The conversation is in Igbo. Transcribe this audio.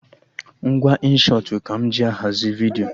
Ngwa Inshọtụ ka m ji ahazi vidiyo